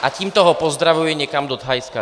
A tímto ho pozdravuji někam do Thajska.